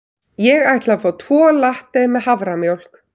Ég ætla að fá tvo latte með haframjólk.